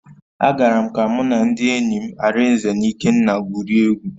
Agara m ka mụ na ndị enyi m, Arinze na Ikenna gwurie egwu.